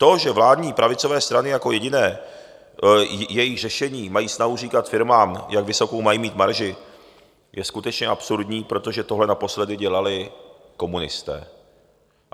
To, že vládní pravicové strany jako jediné své řešení mají snahu říkat firmám, jak vysokou mají mít marži, je skutečně absurdní, protože tohle naposledy dělali komunisté.